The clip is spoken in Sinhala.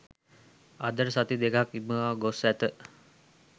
අදට සති දෙකක් ඉක්මවා ගොස් ඇත.